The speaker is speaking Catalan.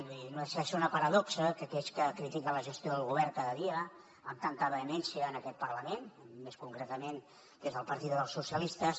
vull dir no deixa de ser una paradoxa que d’aquells que critiquen la gestió del govern cada dia amb tanta vehemència en aquest parlament més concretament des del partit dels socialistes